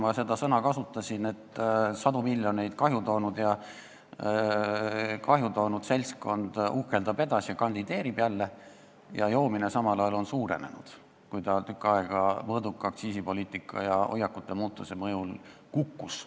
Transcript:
Ma kasutasin seda sõna, sest sadu miljoneid kahju toonud seltskond uhkeldab edasi, kandideerib jälle, aga joomine on samal ajal suurenenud, kuigi tükk aega see mõõduka aktsiisipoliitika ja hoiakute muutumise mõjul kukkus.